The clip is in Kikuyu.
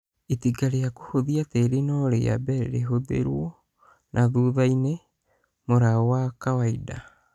Itinga rĩa kũhũthia tĩri no rĩambe rĩhũthĩlwo na thuthainĩ mũlao wa kawaida